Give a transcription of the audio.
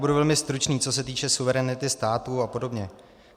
Budu velmi stručný, co se týče suverenity státu a podobně.